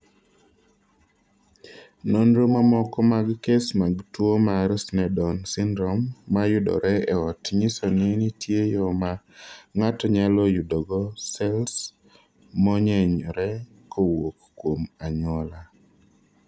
Nonro mamoko mag kes mag tuo mar Sneddon syndrome ma yudore e ot nyiso ni nitie yo ma ng�ato nyalo yudogo sels monyenyore kowuok kuom anyuola.